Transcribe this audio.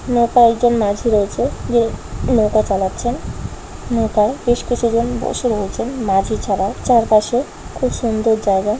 নৌকায় একজন মাঝি রয়েছে যে নৌকা চালাচ্ছেন নৌকায় বেশ কিছুজন বসে রয়েছেন মাঝিছাড়া চারপাশে খুব সুন্দর জায়গা।